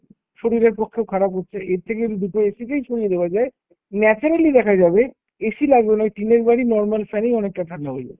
শরীরের পক্ষেও খারাপ হচ্ছে। এর থেকে যদি দুটো AC কেই সরিয়ে দেওয়া যায় naturally দেখা যাবে AC লাগানো ওই টিনের বাড়ি normal fan এই অনেকটা ঠান্ডা হয়ে যাবে।